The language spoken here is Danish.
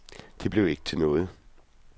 Det blev ikke til noget.